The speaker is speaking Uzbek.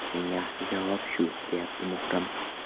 Eng yaxshi javob shu”, deyapti Muhrim.